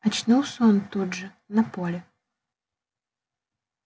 очнулся он тут же на поле